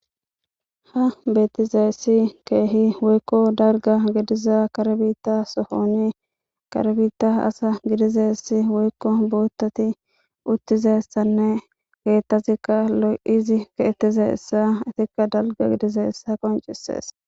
ha beetizeessi keehi woykko darga gidiza karbita sohoni karbita asa gidizeessi woykko boottati uttizessanne geettazikka lo7izi keetize essa itikka dalga gidize essa qoncisees